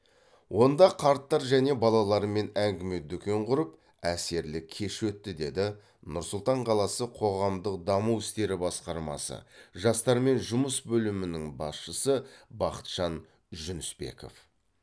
онда қарттар және балалармен әңгіме дүкен құрып әсерлі кеш өтті деді нұр сұлтан қаласы қоғамдық даму істері басқармасы жастармен жұмыс бөлімінің басшысы бақытжан жүнісбеков